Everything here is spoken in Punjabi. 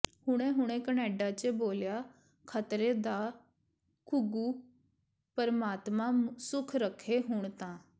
ਹੁਣੇ ਹੁਣੇ ਕਨੇਡਾ ਚ ਬੋਲਿਆ ਖਤਰੇ ਦਾ ਘੁੱਗੂ ਪਰਮਾਤਮਾ ਸੁਖ ਰਖੇ ਹੁਣ ਤਾਂ